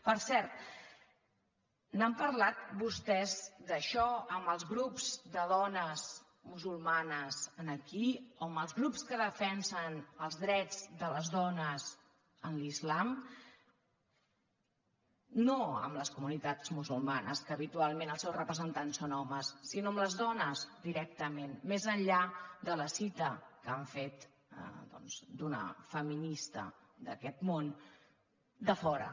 per cert n’han parlat vostès d’això amb els grups de dones musulmanes aquí o amb els grups que defensen els drets de les dones a l’islam no amb les comunitats musulmanes que habitualment els seus representants són homes sinó amb les dones directament més enllà de la cita que han fet d’una feminista d’aquest món de fora